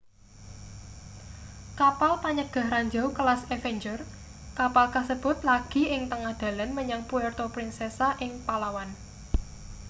kapal panyegah ranjau kelas avenger kapal kasebut lagi ing tengah dalan menyang puerto princesa ing palawan